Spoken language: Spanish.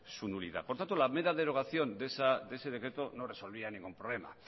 su nulidad por tanto la mera derogación de ese decreto no resolvía ningún problema